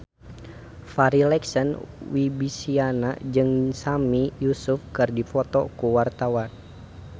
Farri Icksan Wibisana jeung Sami Yusuf keur dipoto ku wartawan